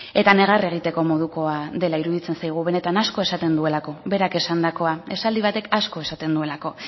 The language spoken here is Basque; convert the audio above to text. eta negar egiteko modukoa dela iruditzen zaigu benetan asko esaten duelako berak esandakoa esaldi batek asko esaten duelako